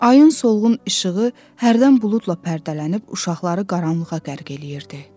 Ayın solğun işığı hərdən buludla pərdələnib uşaqları qaranlığa qərq eləyirdi.